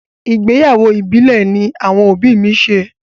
Ìgbéyàwó ìbílẹ̀ ní àwọn òbí mi ṣe.